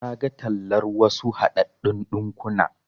Naga tallar wasu haɗaɗɗun ɗinkuna.